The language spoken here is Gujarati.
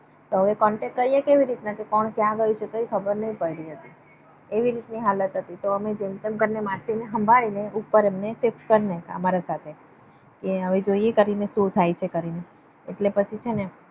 તો હવે contact કરીયે કેવી રીતે ના કોણ ક્યાં ગયું છે કઈ ખબર નૈ પડે. એવી રીતની હાલત હતી. તો અમે જેમ તેમ કરીને માસી ને સાંભળીને ઉપર અમને અમારા જોડે shift કર નાખ્યા અમારા સાથે. કે હવે જોઈએ કે સુ થાય છે? એટ્લે પછી છે ને